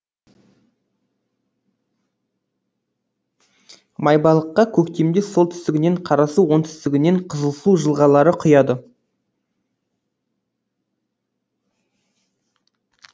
майбалыққа көктемде солтүстігінен қарасу оңтүстігінен қызылсу жылғалары құяды